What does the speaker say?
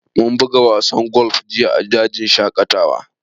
Mun buga wasan golf jiya a dajin shaƙatawa